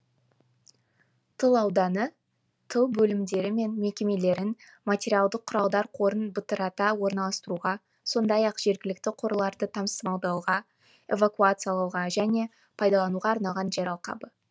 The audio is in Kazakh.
тыл ауданы тыл бөлімдері мен мекемелерін материалдық құралдар қорын бытырата орналастыруға сондай ақ жергілікті қорларды тасымалдауға эвакуациялауға және пайдалануға арналған жер алқабы